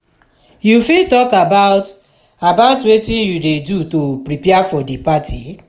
you fit talk about about wetin you dey do to prepare for di party?